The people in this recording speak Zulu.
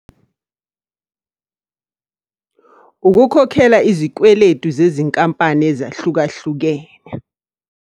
Ukukhokhela izikweletu zezinkampani ezahlukahlukene.